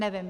Nevím.